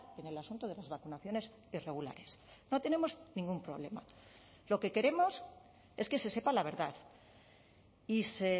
en el asunto de las vacunaciones irregulares no tenemos ningún problema lo que queremos es que se sepa la verdad y se